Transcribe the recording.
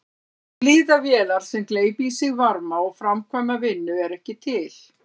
Eilífðarvélar sem gleypa í sig varma og framkvæma vinnu eru ekki til.